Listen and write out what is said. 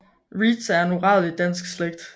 Reedtz er en uradelig dansk slægt